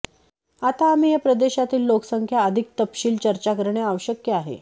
आता आम्ही या प्रदेशातील लोकसंख्या अधिक तपशील चर्चा करणे आवश्यक आहे